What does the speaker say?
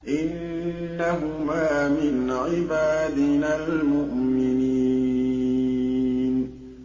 إِنَّهُمَا مِنْ عِبَادِنَا الْمُؤْمِنِينَ